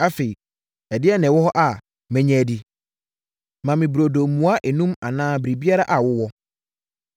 Afei, ɛdeɛn na ɛwɔ hɔ a mɛnya adi? Ma me burodo mua enum anaa biribiara a wowɔ.”